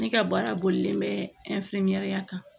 Ne ka baara bolilen bɛ kan